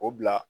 O bila